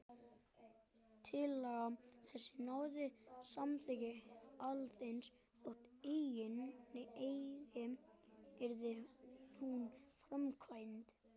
Tillaga þessi náði samþykki Alþingis, þótt eigi yrði hún framkvæmd.